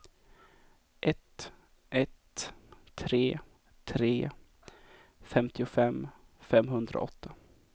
ett ett tre tre femtiofem femhundraåtta